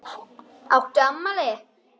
Áttu afmæli?